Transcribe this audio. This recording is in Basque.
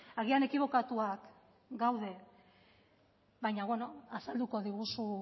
agian ekibokatuak gaude baina beno azalduko diguzu